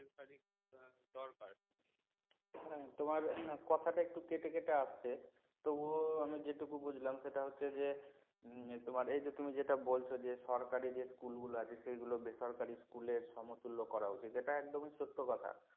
হ্যাঁ তোমার কথাটা একটু কেটে কেটে আসছে তবুও আমি যেটুকু বুঝলাম সেটা হচ্ছে যে তোমার এই যে তুমি যেটা বলছো যে সরকারি যে school গুলো আছে সেগুলো বেসরকারি school এর সমতুল্য করা উচিত এটা একদমই সত্য কথা